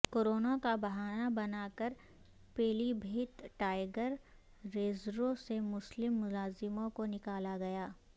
corona کا بہانہ بنا کر پیلی بھیت ٹائیگر ریزرو سے مسلم ملازموں کو نکالا گیا